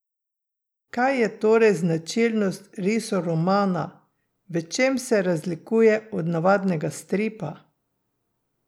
Kaj je torej značilnost risoromana, v čem se razlikuje od navadnega stripa?